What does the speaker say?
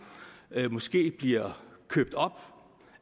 men måske bliver købt op